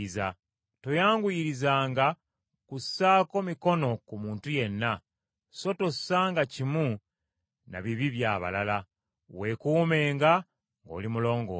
Toyanguyirizanga kussaako mikono ku muntu yenna, so tossanga kimu na bibi by’abalala; weekuumenga ng’oli mulongoofu.